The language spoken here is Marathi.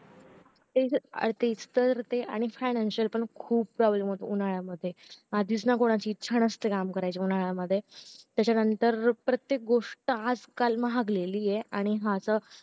तेच तर ते आणि finaicial पण खूप problem होतो उन्हाळ्यामध्ये आधीच कोणाची ईच्छा नसते काम करण्याची उन्हाळ्यामध्ये त्याच्या नंतर प्रत्येक गोष्ट आज काल महागलेली